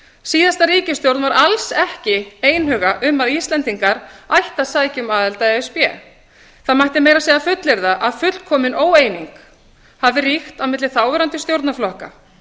síðasta ríkisstjórn var alls ekki einhuga um að íslendingar ættu að sækja um aðild að e s b það mætti meira að segja fullyrða að fullkomin óeining hefði ríkt á milli þáverandi stjórnarflokka